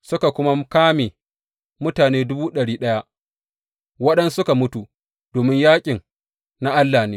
Suka kuma kame mutane dubu ɗari ɗaya, waɗansu suka mutu, domin yaƙin na Allah ne.